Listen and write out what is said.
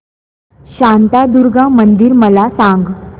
शांतादुर्गा मंदिर मला सांग